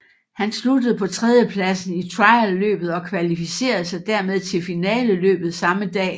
Han sluttede på tredjepladsen i trialløbet og kvalificerede sig dermed til finaleløbet samme dag